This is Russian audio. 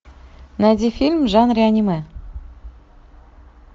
найди фильм в жанре аниме